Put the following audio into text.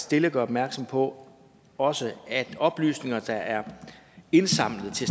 stille gør opmærksom på også at oplysninger der er indsamlet til